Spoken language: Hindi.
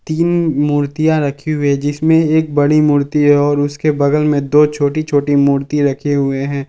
तीन मूर्तियां रखी हुई है जिसमें एक बड़ी मूर्ति है और उसके बगल में दो छोटी छोटी मूर्ति रखे हुए हैं।